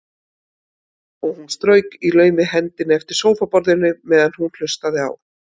Og hún strauk í laumi hendi eftir sófaborðinu meðan hún hlustaði á